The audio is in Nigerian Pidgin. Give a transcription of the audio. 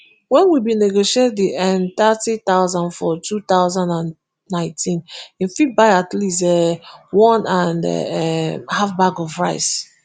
wen we bin negotiate di nthirty thousand for two thousand and nineteen e fit buy at least um one and um half bags of rice